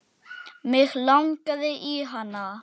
Mig langaði í hana.